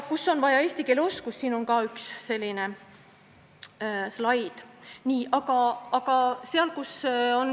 Kus on vaja eesti keele oskust?